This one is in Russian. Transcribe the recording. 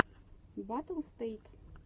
баттлстэйт